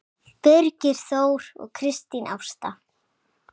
Birgir Þór og Kristín Ásta.